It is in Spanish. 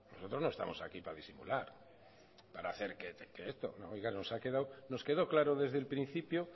nosotros no estamos aquí para disimular nos quedó claro desde el principio